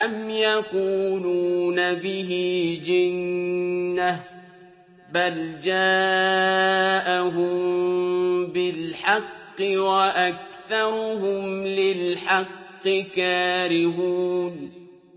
أَمْ يَقُولُونَ بِهِ جِنَّةٌ ۚ بَلْ جَاءَهُم بِالْحَقِّ وَأَكْثَرُهُمْ لِلْحَقِّ كَارِهُونَ